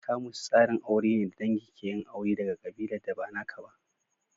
Kamus tsarin aure ne da dangi ke yin aure daga ƙabilar da ba naka ba.